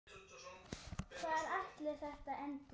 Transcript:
Hvar ætli þetta endi?